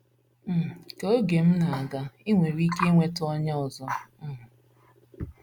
um Ka oge um na - aga, i nwere ike inweta onye ọzọ. um